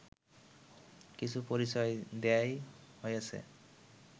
কিছু পরিচয় দেওয়াই হইয়াছে